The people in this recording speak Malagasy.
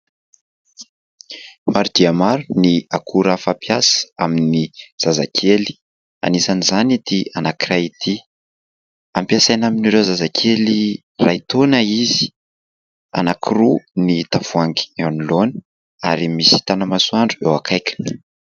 Maro dia maro ny akora fampiasa amin'ny zazakely, anisan' izany ity anankiray ity ; ampiasaina amin'ireo zazakely iray taona izy ; anakiroa ny tavoahangy eo anoloana ary misy tanamasoandro eo akaikiny.